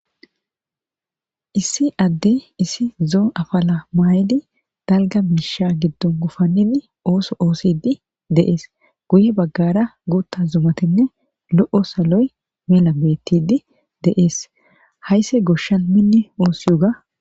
issi adde issi zoo afala maayidi dalga miisha giddon gufanidi ooso oosidi deees guye baggara guutta zumatinne lo7o saloy mela bettidi deees haysse goshshan minni oosiyuga